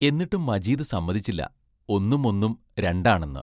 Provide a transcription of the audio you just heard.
എന്നിട്ടും മജീദ് സമ്മതിച്ചില്ല, ഒന്നും ഒന്നും രണ്ടാണെന്ന്.